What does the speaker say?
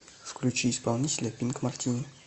включи исполнителя пинк мартини